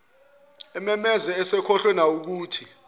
ememeza esekhohlwe nawukuthi